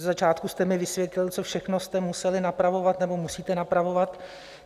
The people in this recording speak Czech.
Ze začátku jste mi vysvětlil, co všechno jste museli napravovat nebo musíte napravovat.